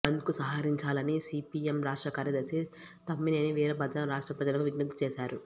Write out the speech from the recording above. బంద్కు సహకరించాలని సిపిఎం రాష్ట్ర కార్యదర్శి తమ్మినేని వీరభద్రం రాష్ట్ర ప్రజలకు విజ్ఞప్తి చేశారు